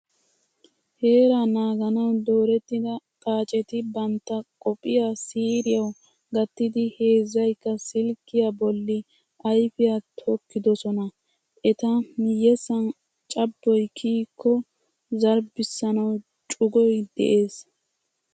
Heeraa naaganawu doorettida xaaceti bantta qophiya siiriyawu gattidi heezzaykka silkkiya bolli ayfiya tokkidosona. Eta miyyessan cabboy kiyikko zarbbissanawu cugoy de'es.